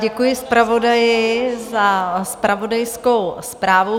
Děkuji zpravodaji za zpravodajskou zprávu.